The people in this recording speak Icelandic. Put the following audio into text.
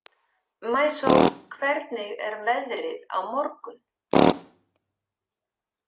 Maísól, hvernig er veðrið á morgun?